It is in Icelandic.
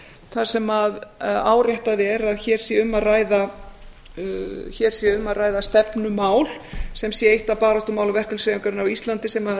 þar sem áréttað er að hér sé um að ræða stefnumál sem sé eitt af baráttumálum verkalýðshreyfingarinnar á íslandi sem